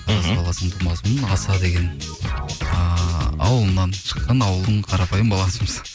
тараз қаласының тумасымын аласа деген ыыы ауылынан шыққан ауылдың қарапайым баласымыз